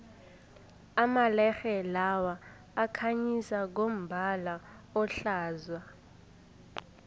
amalerhe lawa akhanyisa ngombala ohlaza